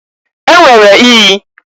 E nwere iyi.